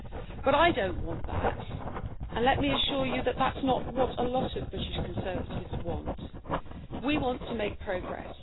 But I don't want that, and let me assure you that that's not what a lot of British Conservatives want. We want to make progress.